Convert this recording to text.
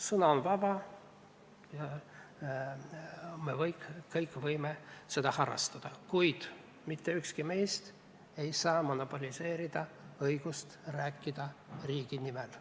Sõna on vaba, me kõik võime seda kasutada, kuid mitte ükski meist ei saa monopoliseerida õigust rääkida riigi nimel.